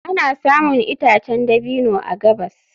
Ana samun itacen dabino a gabas.